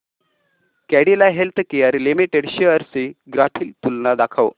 Cadila healthcare limited shares ची graphical तुलना दाखव